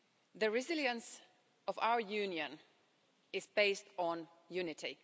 The resilience of our Union is based on unity.